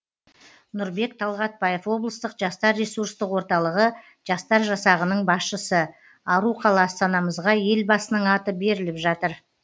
нұрбек талғатбаев облыстық жастар ресурстық орталығы жастар жасағының басшысы ару қала астанамызға елбасының аты беріліп жатыр